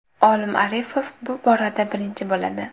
Olim Arifov bu borada birinchi bo‘ladi.